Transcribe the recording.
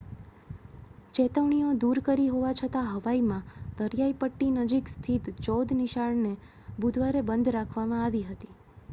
ચેતવણીઓ દૂર કરી હોવા છતાં હવાઈમાં દરિયાઇપટ્ટી નજીક સ્થિત ચૌદ નિશાળને બુધવારે બંધ રાખવામાં આવી હતી